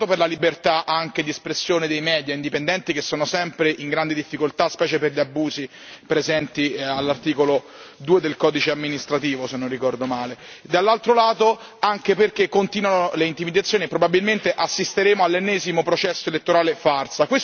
Da un lato, per la libertà anche di espressione dei media indipendenti che sono sempre in grande difficoltà, specie per gli abusi presenti all'articolo 2 del codice amministrativo se non ricordo male dall'altro lato, anche perché continuano le intimidazioni e probabilmente assisteremo all'ennesimo processo elettorale farsa.